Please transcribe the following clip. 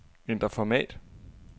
Ændr format.